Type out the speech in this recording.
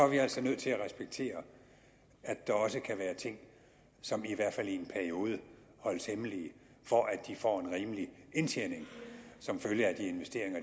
vi altså nødt til at respektere at der også kan være ting som i hvert fald i en periode holdes hemmelige for at de får en rimelig indtjening som følge af de investeringer